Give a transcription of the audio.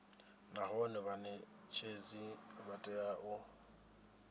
nahone vhanetshedzi vha tea u